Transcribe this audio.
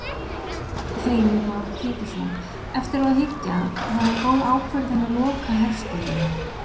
Heimir Már Pétursson: Eftir á að hyggja, var það góð ákvörðun að loka herstöðinni?